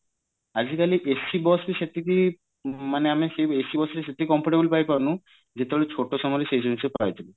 ଆଜି କାଲି ac bus ବି ସେତିକି ମାନେ ଆମେ ac bus ରେ ସେତିକି comfortable ପାଇପାରୁନୁ ଯେତେବେଳେ ଛୋଟ ସମୟରେ ସେଇ ଜିନିଷ ପାଇଥିଲୁ